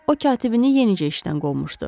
O katibini yenicə işdən qovmuşdu.